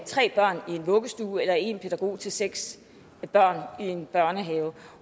tre børn i en vuggestue eller om en pædagog til seks børn i en børnehave